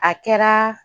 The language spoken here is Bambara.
A kɛra